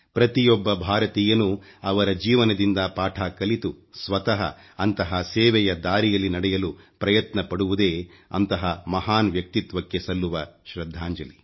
ಪ್ರತಿಯೊಬ್ಬ ಭಾರತೀಯನೂ ಅವರ ಜೀವನದಿಂದ ಪಾಠ ಕಲಿತು ಸ್ವತಃ ಅಂತಹ ಸೇವೆಯ ದಾರಿಯಲ್ಲಿ ನಡೆಯಲು ಪ್ರಯತ್ನ ಪಡುವುದೇ ಅಂಥಹ ಮಹಾನ್ ವ್ಯಕ್ತಿತ್ವಕ್ಕೆ ಸಲ್ಲುವ ಶ್ರಧ್ಧಾಂಜಲಿ